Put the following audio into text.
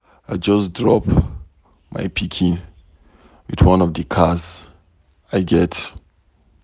I just drop my pikin with one of the cars I get.